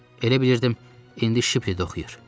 Elə bilirdim indi Shiple-də oxuyur.